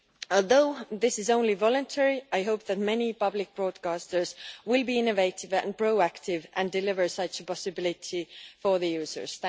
Although this is only voluntary, I hope that many public broadcasters will be innovative and proactive and deliver such a possibility for the users.